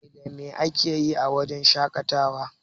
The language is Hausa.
Me da me akeyi a wurin shaƙatawa?